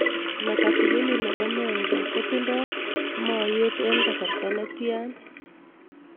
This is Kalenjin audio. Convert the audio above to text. Mekatilili ne po Menza kotinye mooyeet eng'' kasarta ne tyan